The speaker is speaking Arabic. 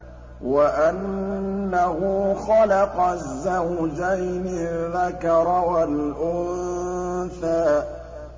وَأَنَّهُ خَلَقَ الزَّوْجَيْنِ الذَّكَرَ وَالْأُنثَىٰ